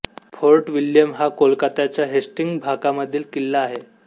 fort William हा कोलकात्याच्या Hastings भागामधील किल्ला आहे